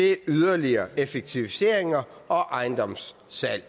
er yderligere effektiviseringer og ejendomssalg